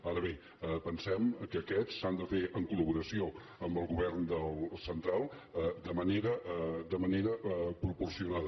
ara bé pensem que aquests s’han de fer en collaboració amb el govern central de manera proporcionada